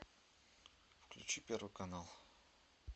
включи первый канал